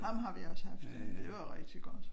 Ham har vi også haft. Det var jo rigtig godt